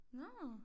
Nåh